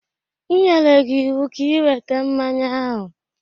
M nyere gị ịwụ ka ị weta mmanya ahụ!